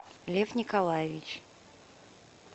лев николаевич